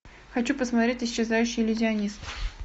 хочу посмотреть исчезающий иллюзионист